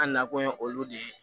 An nakun ye olu de ye